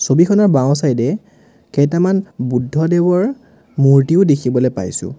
ছবিখনৰ বাওঁ চাইড এ কেইটামান বুদ্ধ দেৱৰ মূৰ্ত্তিও দেখিবলে পাইছোঁ।